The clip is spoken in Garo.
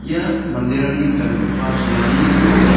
ia manderangni gangipa cholani rong--